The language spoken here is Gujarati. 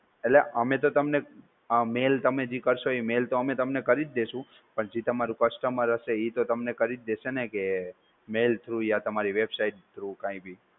એટલે અમે તો તમને mail તમે જે કરશો ઈ mail તો અમે તમને કરીજ દેશું પણ જે તમારો customer હશે ઈ તો તમને કરીજ દેશે ને કે mail through યા તમારી website through કઈં બી.